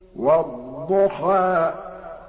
وَالضُّحَىٰ